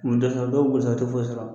dɔw b'u ta u tɛ foyi sɔrɔ